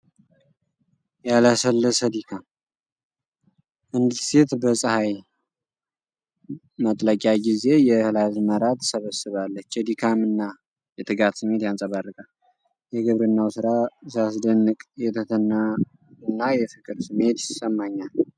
ያላሰለሰ ድካም! አንዲት ሴት በፀሐይ መጥለቂያ ጊዜ የእህል አዝመራ ትሰበስባለች። የድካም እና የትጋት ስሜት ያንጸባርቃል። የግብርናው ሥራ ሲያስደንቅ! የትህትናና የፍቅር ስሜት ይሰማኛል።